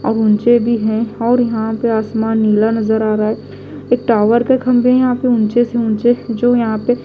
और ऊँचे भी हैं और यहां पे आसमान नीला नजर आ रहा है एक टावर का खंबे यहां पे ऊंचे से ऊंचे जो यहां पे --